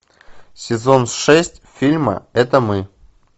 сезон шесть фильма это мы